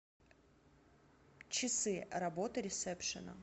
часы работы ресепшена